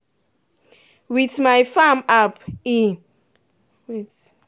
with my farm app um